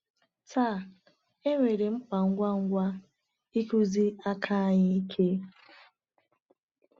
Taa, enwere mkpa ngwa ngwa ịkụzi aka anyị ike.